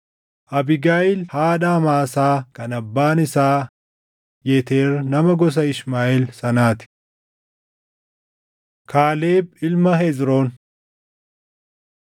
Abiigayiil haadha Amaasaa kan abbaan isaa Yeteer nama gosa Ishmaaʼeel sanaa ti. Kaaleb Ilma Hezroon